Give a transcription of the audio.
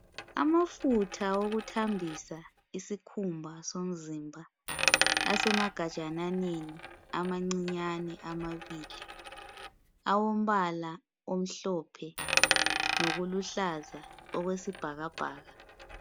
amafutha wokuthambisa isikhumba somzimba asemagajananeni amancinyane amabili awombala omhlophe lokuluhlaza okwesibhakabhaka